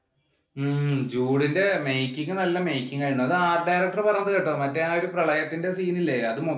ഉം ജൂഡിന്‍റെ making നല്ല making ആയിരുന്നു. അത് art director പറയുന്നേ കേട്ടോ. മറ്റേ ആ പ്രളയത്തിന്‍റെ scene ഇല്ലേ അത് മോ